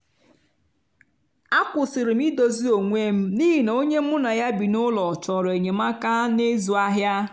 a kwụsịrị m idozi onwe m n’ihi na onye mu na ya bi n'ụlọ chọrọ enyemaka na ịzụ ahịa